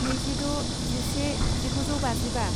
नैजिद' जिसे जिगुजौबाजिबा